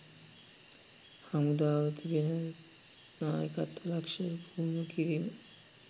හමුදාව තුළ තියෙන නායකත්ව ලක්ෂණ පුහුණු කිරීම